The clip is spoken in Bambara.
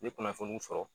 N ye kunnafoniw fɔ